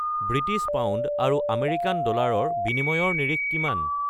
British pound আৰু American ডলাৰৰ বিনিময়ৰ নিৰিখ কিমান